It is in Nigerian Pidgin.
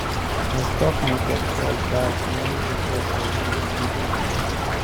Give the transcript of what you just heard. as stock market fall bad many investors lose big money